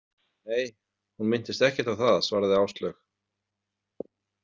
Nei, hún minntist ekkert á það, svaraði Áslaug.